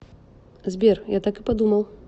сбер я так и подумал